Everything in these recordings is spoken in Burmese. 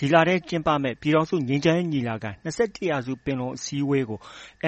ဒီလထဲကျင်းပမယ့် ပြည်ထောင်စုငြိမ်းချမ်းရေး ညီလာခံ - ၂၁ ရာစုပင်လုံ အစည်းအဝေးကို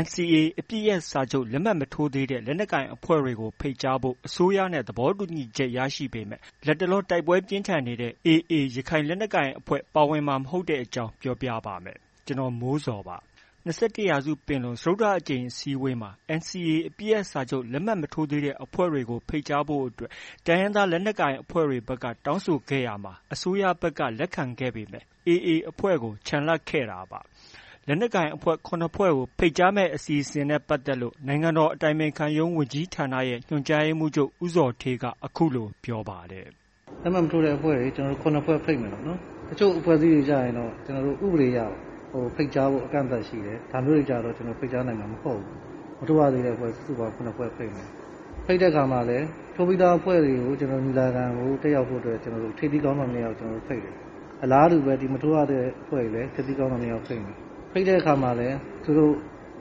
NCA အပစ်ရပ်စာချုပ် လက်မှတ်မထိုးသေးတဲ့ လက်နက်ကိုင်အဖွဲ့တွေကို ဖိတ်ကြားဖို့ အစိုးရနဲ့ သဘောတူညီချက် ရရှိပေမဲ့ လတ်တလော တိုက်ပွဲပြင်းထန်နေတဲ့ AA ရခိုင်လက်နက်ကိုင်အဖွဲ့ ပါဝင်မှာမဟုတ်တဲ့အကြောင်းကို ဗွီအိုအေမြန်မာပိုင်းသတင်းထောက် ကိုမိုးဇော်က ပြောပြပေးပါမယ်။ ၂၁ ရာစုပင်လုံ စတုတ္တအကြိမ်အစည်းအဝေးမှာ NCA အပစ်ရပ်စာချုပ် လက်မှတ်မထိုးသေးတဲ့အဖွဲ့တွေကို ဖိတ်ကြားဖို့ တိုင်းရင်းသား လက်နက်ကိုင်အဖွဲ့တွေက တောင်းဆိုခဲ့ရာမှာ အစိုးရဘက်က လက်ခံခဲ့ပေမဲ့ AA အဖွ့ဲကို ချန်လှပ်ထားခဲ့တာပါ။ လက်နက်ကိုင်အဖွဲ့ ၇ ဖွဲ့ကို ဖိတ်ကြားမယ့် အစီအစဉ်နဲ့ ပတ်သက်လို့ နိုင်ငံတော် အတိုင်ပင်ခံရုံး ဝန်ကြီးဌာနရဲ့ ညွှန်ကြားရေးမှူးချုပ် ဦးဇော်ဌေးက အခုလို ပြောပါတယ်။ “လက်မှတ် မထိုးတဲ့အဖွဲ့တွေ ၇ ဖွဲ့ ဖိတ်မယ်ပေါ့နော်။ တချို့အဖွဲ့အစည်းတွေကျရင် ဥပဒေအရ ကျနော်တို့ ဖိတ်ကြားဖို့ အကန့်အသတ်ရှိတယ်။ ဒါမျိုးတွေကျ ကျနော်တို့ ဖိတ်ကြားနိုင်မှာ မဟုတ်ဘူး။ မထိုးရသေးတဲ့အဖွဲ့ စုစုပေါင်း ၇ ဖွဲ့ဖိတ်မယ်။ ဖိတ်တဲ့အခါမှာလည်း ထိုးပြီးသားအဖွဲ့တွေကို ညီလာခံကို တက်ရောက်ဖို့အတွက် ထိပ်သီးခေါင်းဆောင် နှစ်ယောက် ကျနော်တို့ ဖိတ်တယ်။ အလားတူပဲ မထိုးရသေးတဲ့အဖွဲ့တွေကိုလည်း ထိပ်သီးခေါင်းဆောင် နှစ်ယောက်ဖိတ်မယ်။ ဖိတ်တဲ့အခါမှာလည်း သူတို့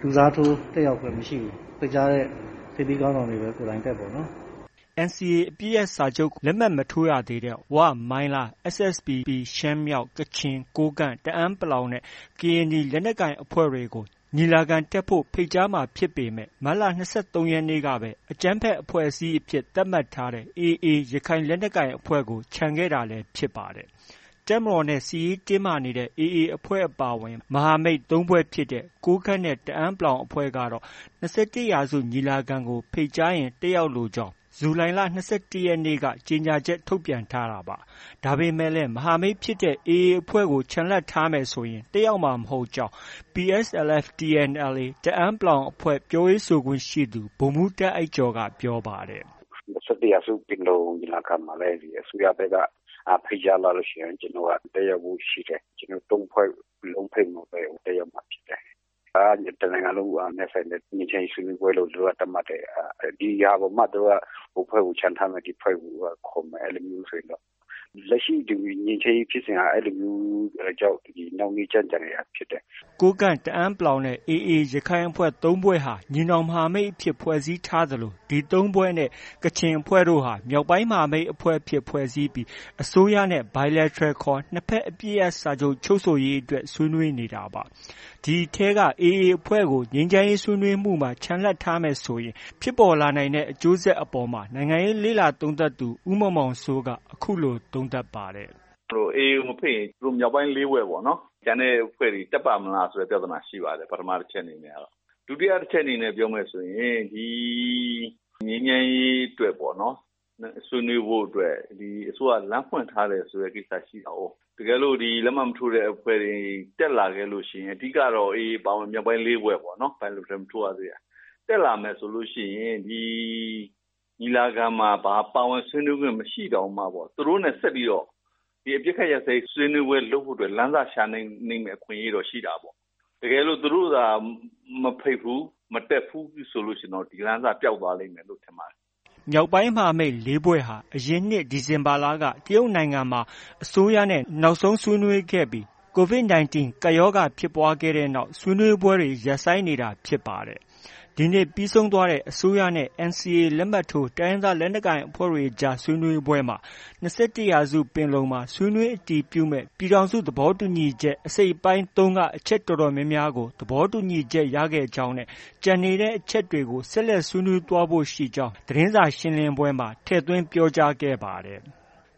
လူစားထိုး တက်ရောက်ခွင့် မရှိဘူး။ ဖိတ်ကြားတဲ့ ထိပ်သီးခေါင်းဆောင်တွေပဲ ကိုယ်တိုင်တက်ပေါ့နော်။ ” NCA အပစ်ရပ်စာချုပ်ကို လက်မှတ်မထိုးရသေးတဲ့ ဝ၊ မိုင်းလား၊ SSPP ရှမ်းမြောက်၊ ကချင်၊ ကိုးကန့်၊ တအန်း နဲ့ ကရင်နီ လက်နက်ကိုင်အဖွဲ့တွေကို ညီလာခံတက်ဖို့ ဖိတ်ကြားမှာ ဖြစ်ပေမဲ့ မတ်လ ၂၃ ရက်နေ့ကပဲ အကြမ်းဖက် အဖွဲ့အစည်းအဖြစ် သတ်မှတ်ထားတဲ့ AA ရခိုင်လက်နက်ကိုင်အဖွဲ့ကို ချန်ထားခဲ့တာလည်း ဖြစ်ပါတယ်။ တပ်မတော်နဲ့ စစ်ရေးတင်းမာနေတဲ့ AA အဖွဲ့အပါအဝင် မဟာမိတ် ၃ ဖွဲ့ဖြစ်တဲ့ ကိုးကန့်နဲ့ တအန်း အဖွဲ့တွေကတော့ ၂၁ရာစုပင်လုံ ညီလာခံကို ဖိတ်ကြားရင် တက်ရောက်လိုကြောင်း ဇူလိုင်လ ၂၁ ရက်နေ့က ကြေညာချက် ထုတ်ပြန်ထားတာပါ။ ဒါပေမဲ့လည်း မဟာမိတ်ဖြစ်တဲ့ AA အဖွဲ့ကို ချန်လှပ်ထားမယ်ဆိုရင် တက်ရောက်မှာ မဟုတ်ကြောင်း PSLF/TNLA တအန်း အဖွဲ့ ပြောရေးဆိုခွင့်ရှိသူ ဗိုလ်မှူးတာ့အိုက်ကျော်က ပြောပါတယ်။ “၂၁ ရာစုပင်လုံညီလာခံမှာ အစိုးရဘက်က ဖိတ်ကြားလာလို့ ရှိရင် ကျနော်တို့က တက်ရောက်ဖို့ ရှိတယ်။ ကျနော်တို့ ၃ ဖွဲ့လုံး ဖိတ်မှပဲ တက်ရောက်မှာ ဖြစ်တယ်။ ဒါက တစ်နိုင်ငံလုံးနဲ့ဆိုင်တဲ့ ငြိမ်းချမ်းရေး ဆွေးနွေးပွဲလို့ သူတို့က သတ်မှတ်တယ်။ ဒီဟာကိုမှ သူတို့က ဟိုအဖွဲ့ကို ချန်ထားမယ်။ ဒီအဖွဲ့ကို ခေါ်မယ်ဆိုရင်တော့ လက်ရှိ ဒီ ငြိမ်းချမ်းရေးဖြစ်စဉ်က အဲလိုမျိုးကြောင့် နှောင့်နှေးကြန့်ကြာနေတာဖြစ်တယ်။” ကိုးကန့်၊ တအန်း နဲ့ AA ရခိုင်အဖွဲ့ ၃ ဖွဲ့ဟာ ညီနောင်မဟာမိတ်အဖြစ် ဖွဲ့စည်းထားသလို ဒီ ၃ ဖွဲ့နဲ့ ကချင်အဖွဲ့တို့ဟာ မြောက်ပိုင်းမဟာမိတ်အဖြစ် ဖွဲ့စည်းပြီး အစိုးရနဲ့ Bilateral နှစ်ဘက်အပစ်ရပ်စာချုပ် ချုပ်ဆိုရေး ဆွေးနွေးနေတာပါ။ ဒီအထဲက AA အဖွဲ့ကို ငြိမ်းချမ်းရေးဆွေးနွေးမှုတွေမှာ ချန်လှပ်ထားမယ် ဆိုရင် ဖြစ်ပေါ်လာနိုင်တဲ့ အကျိုးဆက်တွေအပေါ်မှာ နိုင်ငံရေးလေ့လာသုံးသပ်သူ ဦးမောင်မောင်စိုးက အခုလို သုံးသပ်ပါတယ်။ “AA ကို မဖိတ်ရင် သူတို့ မြောက်ပိုင်း ၄ဖွဲ့ပေါ့နော်။ ကျန်တဲ့အဖွဲ့တွေ တက်ပ့ါမလားဆိုတဲ့ ပြဿနာရှိပါတယ်။ ပထမအချက်အနေနဲ့ ပေါ့နော်။ ဒုတိယအချက်အနေနဲ့ပြောမယ်ဆိုရင် ဒီ ငြိမ်းချမ်းရေးအတွက် ဆွေးနွေးဖု့ိအတွက် အစိုးရက လမ်းဖွင်ထားတယ်ဆိုတဲ့ ကိစ္စရှိတာကိုး။ တကယ်လို့ ဒီ လက်မှတ်မထိုးတဲ့အဖွဲ့တွေ တက်လာခဲ့လို့ရှိရင် အဓိက AA အပါအဝင် မြောက်ပိုင်း ၄ ဖွဲ့ပေါ့နော်။ Bilateral မထိုးရသေးတာ။ တက်လာမယ်ဆိုလို့ရှိရင် ဒီညီလာခံမှာ ပါဝင်ဆွေးနွေးခွင့်မရှိတောင်မှ သူတို့နဲ့ ဆက်ပြီးတော့ ဒီအပစ်အခတ်ရပ်စဲရေးဆွေးနွေးပွဲ လုပ်ဖို့ လမ်းစရှာနိုင်မယ့် အခွင့်အရေးတော့ ရှိတာပေါ့။ တကယ်လို့ သူတို့သာ မဖိတ်ဘူး။ မတက်ဘူးဆို ဒီလမ်းစပျောက်သွားလိမ့်မယ်လို့ ထင်ပါတယ်။” မြောက်ပိုင်း မဟာမိတ် ၄ ဖွဲ့ဟာ အရင်နှစ် ဒီဇင်ဘာလက တရုတ်နိုင်ငံမှာ အစိုးရနဲ့ နောက်ဆုံးဆွေးနွေးခဲ့ပြီး COVID 19 ကပ်ရောဂါဖြစ်ပွားခဲ့တဲ့နောက် ဆွေးနွေးပွဲတွေ ရပ်ဆိုင်းနေတာဖြစ်ပါတယ်။ ဒီနေ့ ပြီးဆုံးသွားတဲ့ အစိုးရနဲ့ NCA လက်မှတ်ထိုး တိုင်းရင်းသားလက်နက်ကိုင်အဖွဲ့အကြား ဆွေးနွေးပွဲမှာ ၂၁ ရာစုပင်လုံမှာ ဆွေးနွေးအတည်ပြုမယ့် ပြည်ထောင်စု သဘောတူညီချက် အစိတ်အပိုင်း ၃က အချက်အတော်များများကို သဘောတူညီချက် ရခဲ့ကြောင်း နဲ့ ကျန်နေတဲ့အချက်တွေကို ဆက်လက် ဆွေးနွေးသွားဖို့ ရှိကြောင်းလည်း သတင်းစာရှင်းလင်းပွဲမှာ ထည့်သွင်း ပြောကြားခဲ့ကြပါတယ်။